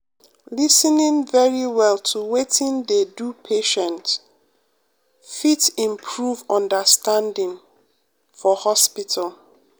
lis ten ing very well to wetin dey do patient um fit improve understanding um for hospital.